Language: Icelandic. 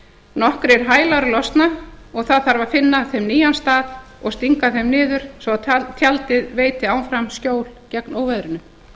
nokkrir hælar losna og það þarf að finna þeim nýjan stað og stinga þeim niður svo tjaldið veiti áfram skjól gegn óveðrinu